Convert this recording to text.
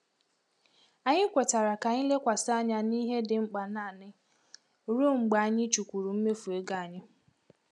Anyị kwetara ka anyị lekwasị anya na ihe ndị dị mkpa naanị ruo mgbe anyị chukwuru mmefu ego anyị.